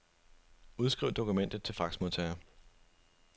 Udskriv dokument til faxmodtager.